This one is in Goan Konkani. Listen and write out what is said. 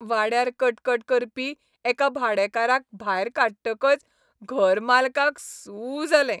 वाड्यार कटकट करपी एका भाडेकाराक भायर काडटकच घरमालकाक सू जालें.